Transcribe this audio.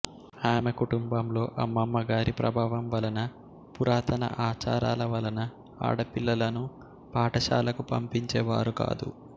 ఆమె కుటుంబంలో అమ్మమ్మ గారి ప్రభావం వలన పురాతన అచారాల వలన ఆడపిల్లలను పాఠశాలకు పంపించేవారు కాదు